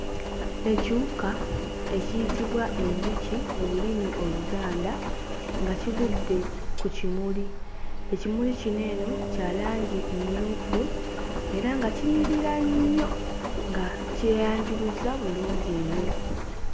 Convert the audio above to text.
Ekiwuka ekiyitibwa enjuki mu lulimi Oluganda nga kigudde ku kimuli. Ekimuli kino eno kya langi mmyufu era nga kinyirira nnyo nga kyeyanjuluzza bulungi nnyo.